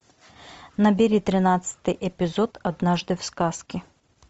набери тринадцатый эпизод однажды в сказке